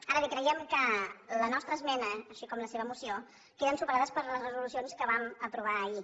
ara bé creiem que la nostra esmena així com la seva moció queden superades per les resolucions que vam aprovar ahir